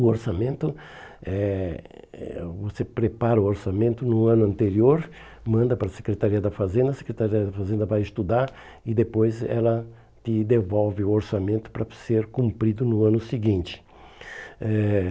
O orçamento, eh eh você prepara o orçamento no ano anterior, manda para a Secretaria da Fazenda, a Secretaria da Fazenda vai estudar e depois ela te devolve o orçamento para ser cumprido no ano seguinte.